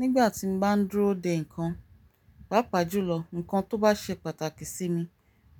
Nígbà tí mo bá dúró de nǹkan, pàápàá jùlọ nǹkan tó bá ṣe pàtàkì sí mi,